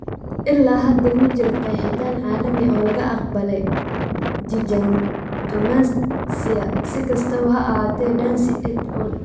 Ilaa hadda, ma jiro qeexitaan caalami ah oo la aqbalay gigantomastia; si kastaba ha ahaatee, Dancey et al.